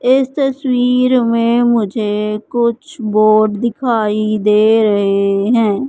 इस तस्वीर में मुझे कुछ बोर्ड दिखाई दे रहे है।